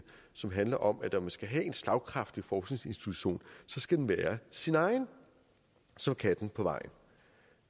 som handler om at når man skal have en slagkraftig forskningsinstitution skal den være sin egen som katten på vejen